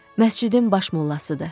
Məscidin baş mollasıdır.